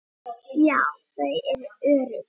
Já, þau eru örugg